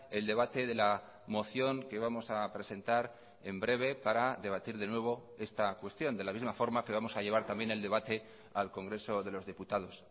el debate de la moción que vamos a presentar en breve para debatir de nuevo esta cuestión de la misma forma que vamos a llevar también el debate al congreso de los diputados